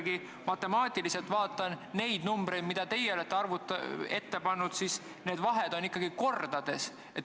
Kui ma matemaatiliselt võrdlen neid arve, mis on prognoositud, siis vahed on ikkagi kordades.